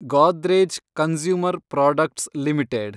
Godrej consumer products limited